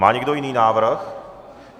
Má někdo jiný návrh?